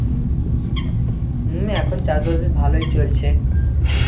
হম এখন চাষবাস ভালোই চলছে।